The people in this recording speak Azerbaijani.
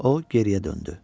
O geriyə döndü.